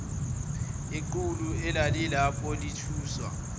iqulu elalilapho lathuswa